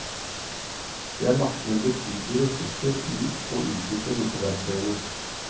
Det er lagt ned betydelige ressurser i å utvikle disse verktøyene.